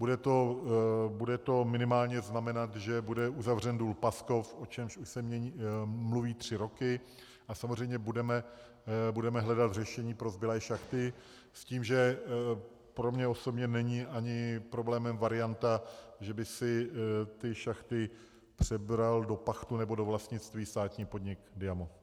Bude to minimálně znamenat, že bude uzavřen důl Paskov, o čemž už se mluví tři roky, a samozřejmě budeme hledat řešení pro zbylé šachty s tím, že pro mě osobně není ani problémem varianta, že by si ty šachty přebral do pachtu nebo do vlastnictví státní podnik Diamo.